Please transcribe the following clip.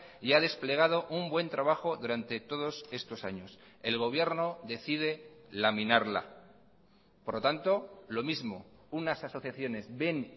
y ha desplegado un buen trabajo durante todos estos años el gobierno decide laminarla por lo tanto lo mismo unas asociaciones ven